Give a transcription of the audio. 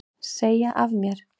Segja af mér